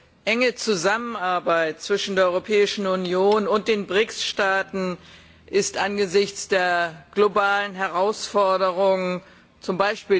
Eine enge Zusammenarbeit zwischen der Europäischen Union und den BRICS Staaten ist angesichts der globalen Herausforderungen, z.